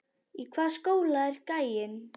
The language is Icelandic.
Í hvaða skóla er gæinn?